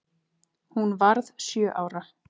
Hún varð sjö ára.